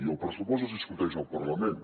i el pressupost es discuteix al parlament